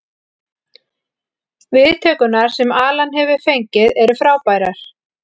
Viðtökurnar sem Alan hefur fengið eru frábærar.